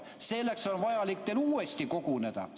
Selleks on vaja teil uuesti koguneda.